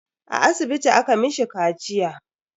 A asibiti aka mishi kaciya.